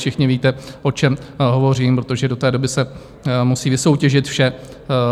Všichni víte, o čem hovořím, protože do té doby se musí vysoutěžit vše.